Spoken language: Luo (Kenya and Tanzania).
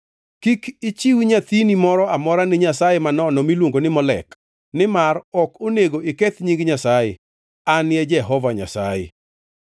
“ ‘Kik ichiw nyathini moro amora ni nyasaye manono miluongo ni Molek, nimar ok onego iketh nying Nyasaye. An e Jehova Nyasaye.